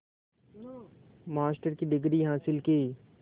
master की degree हासिल की